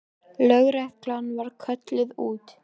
Lögreglan var kölluð út.